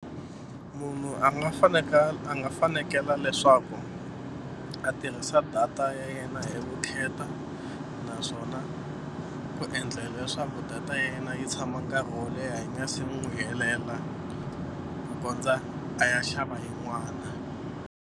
Munhu a nga a nga fanekela leswaku a tirhisa data ya yena hi vukheta naswona ku endlela leswaku data ya yena yi tshama nkarhi wo leha yi nga se mi n'wi helela ku kondza a ya xava yin'wani.